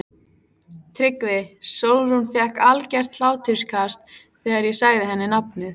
TRYGGVI: Sólrún fékk algert hláturskast þegar ég sagði henni nafnið.